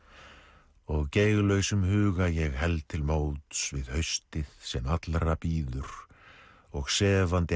og huga ég held til móts við haustið sem allra bíður og sefandi